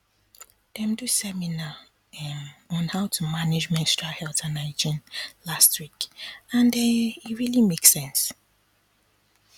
dem do seminar um on how to manage menstrual health and hygiene last um week and e um really make sense